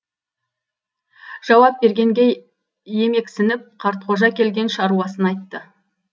жауап бергенге емексініп қартқожа келген шаруасын айтты